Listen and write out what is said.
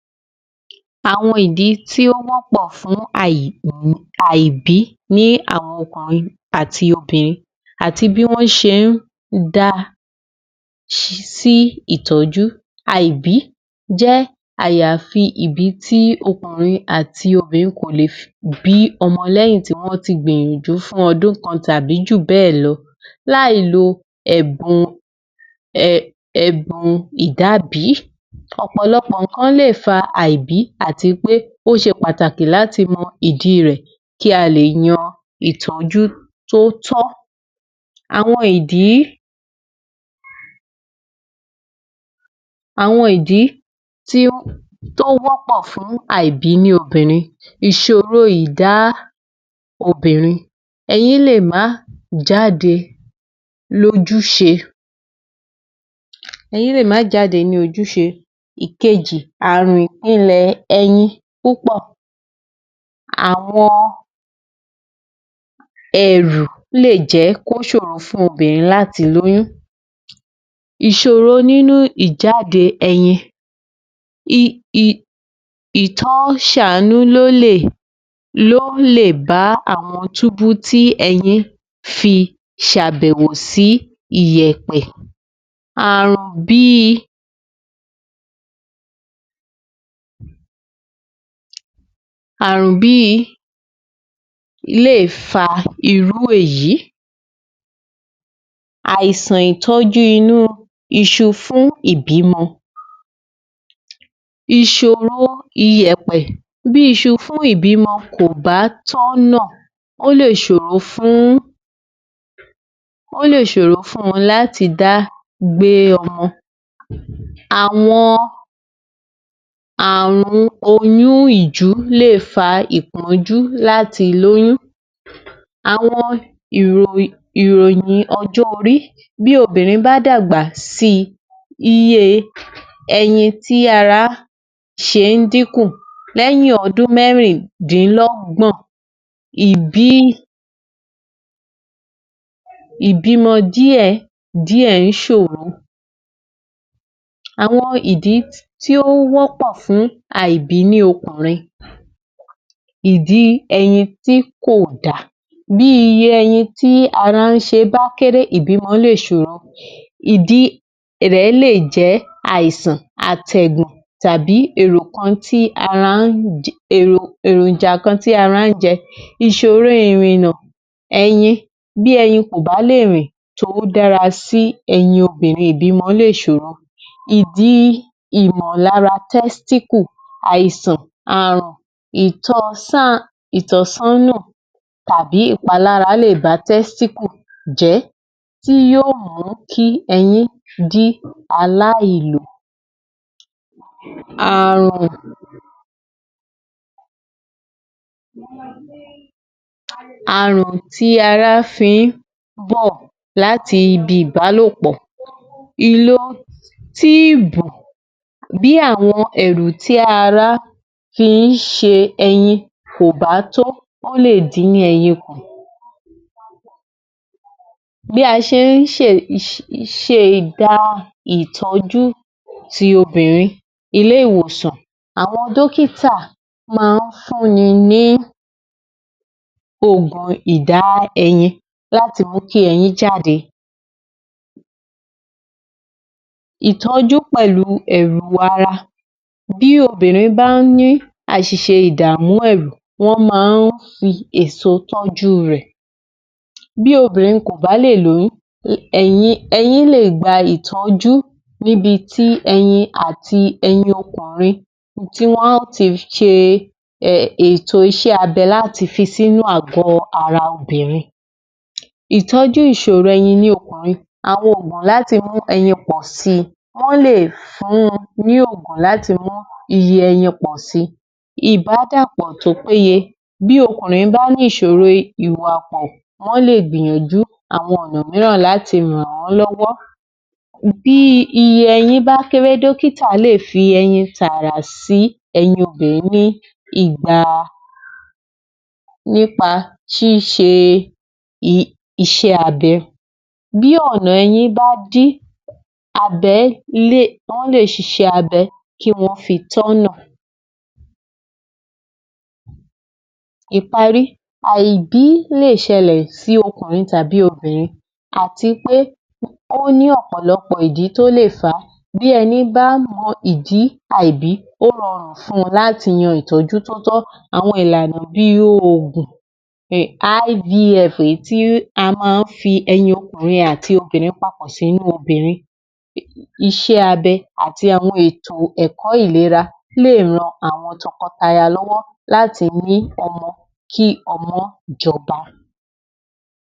Last 3 Audios 00629 Àwọn ìdí tí ó wọ́pọ̀ fún àìbí ní àwọn ọkùnrin àti obìnrin àti bí wọ́n ṣe ń da ṣi sí ìtọ́jú àìbí jẹ́ àyàfi ìbí tí ọkùnrin àti obìnrin kò lè bí ọmọ lẹ́yìn tí wọ́n ti gbìyànjú fún o̩dún kan tàbí jù bé̩è̩ lo̩ láì lo è̩bùn è̩bùn ìdábìí, ò̩pò̩lo̩pò̩ nǹkan lè fa àìbí àti pé ó s̩e pàtàkì láti mo̩ ìdi rè̩ kí a lè yan ìtó̩jú tó tó̩. Àwo̩n ìdí tí ó, tó wó̩pò̩ fún àìbí ní obìnrin, ìs̩òro ìdá obìnrin, e̩yín lè má jáde lójús̩e e̩yín lè má jáde ní ojús̩e. Ikeji – ààrùn ìpinlè̩ e̩yin púpò̩. Àwo̩n e̩rù lè jé̩ kó s̩òro fún obìnrin láti lóyún. Ìs̩òro nínú ìjáde e̩yin, ì i t’wó̩n s̩àánú ló lè ló lè bá àwo̩n túbu ti e̩yin fi s̩àbè̩wò sí ìyè̩pè̩. Ààrùn bí i lé è fa irú èyí, àìsàn ìtó̩jú inú is̩u fún ìbímo̩. Is̩u iye̩pe̩, bí is̩u fún ìbímo̩ ko bá tó̩nà ó lè s̩òro fún wo̩n ó lè s̩òro fún wo̩n láti dá gbé o̩mo̩. Àwo̩n àrùn oyún ìjú lè fa ìpó̩njú láti lóyún. Àwo̩n ìrò- ìròyìn o̩jó̩ orí, bí obìnrin bá dàgbà sí i iye e̩yin tí ará s̩e ń dínkù lé̩yìn o̩dún mé̩rìndínló̩gbò̩n, ìbímo̩ díè̩díè̩ ń s̩òro. Àwo̩n ìdí tí ó ń wó̩pò̩ fún àìbí ní okùnrin, ìdí e̩yin tí kò dà. Bí iye e̩yin tí ara ń s̩e bá kéré ìbímo̩ lè s̩òro, ìdí rè̩ lè jé̩ àìsàn àtè̩gùn tàbí èrò kan tí ara ń- èròjà kan tí ará ń jé̩, ìs̩òro ìrìnnà, e̩yin – bí e̩yin kò bá lè rìn to̩wó̩ dára sí e̩yin obìnrin ò lè s̩òro. Ìdí ìmò̩lára testicle, àìsàn, ààrùn, ìtò̩sán, ìtò̩só̩nà tàbí ìpalára lè ba té̩stíkù jé̩, tí yóò mù kí e̩yin di aláìlò. Ààrùn tí ara fi ń bò̩ láti ibi ìbálòpò̩, ìlo tíìbù bí àwo̩n è̩rù tí aráá fi ń s̩e e̩yin kò bá tó ó lè dín yíyé e̩yin kù. Bí a s̩e ń s̩e ida ìtó̩ju obìnrin ilé-ìwòsàn, àwo̩n dókítà máa ń fún ni ní òògùn ìdá e̩yin láti mú kí e̩yín jáde. Ìtó̩jú pè̩lú è̩rù ara – bí obìnrin bá ní às̩ìs̩e ìdààmú è̩rù wó̩n máa ń fi èso tó̩jú rè̩. Bí obìnrin kò bá lè lóyún, e̩yin lè gba ìtó̩jú, níbi tí e̩yin àti e̩yin o̩kùnrin tí wo̩n a ti s̩e ètò abe̩ láti fi sínú àgó̩ ara obìnrin. Ìtó̩jú ìs̩òro e̩yin inú o̩kùnrin - àwo̩n òògùn láti mú e̩yin o̩kùnrin pò̩ si, wó̩n lè fun ní òògùn láti mú iye e̩yin pò̩ si. Ìbádàpò̩ tó péye - bí o̩kùnrin bá nís̩òro ìwà wó̩n lè gbìyànjú àwo̩n ò̩nà mìíràn láti ràn án lọ́wó̩. Bí iye e̩yin bá kéré dókítà lè fi e̩yin tààrà sí e̩yin obìnrin nígbà nípa s̩ís̩e is̩é̩ abe̩. Bí ò̩nà e̩yin bá di, abe̩ wó̩n lè s̩is̩ẹ́ abe̩ kí wó̩n fi tó̩̣nà. Ìparí – àìbí lè s̩e̩lè̩ sí o̩kùnrin tàbí obìnrin, àti pé ó ní ò̩pò̩lo̩pò̩ ìdí tó lè fà á, bí e̩ni bá mo̩ ìdí àìbị ó ro̩rùn fún wo̩̩n láti yan ìtó̩jú tó tó̩, àwo̩n ìlànà bíi òògùn, IVF èyí tí a máa ń fi e̩yin o̩kùnrin àti ti obìnrin papò̩ sínú obìnrin, is̩é̩ abe̩̣ àti àwo̩n ètò è̩kó̩ ìlera lè ran àwo̩n to̩ko̩taya lọ́wó̩ láti ní o̩mo̩ kí o̩mo̩ jo̩ba.